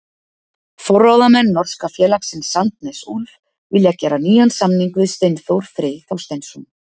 Forráðamenn norska félagsins Sandnes Ulf vilja gera nýjan samning við Steinþór Frey Þorsteinsson.